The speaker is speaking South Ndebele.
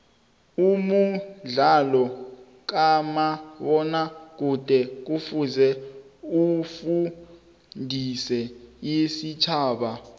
umudlalo kamabona kude kufuze ufundise istjhaba